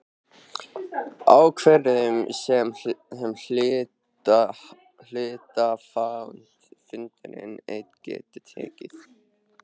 ákvörðun sem hluthafafundur einn getur tekið.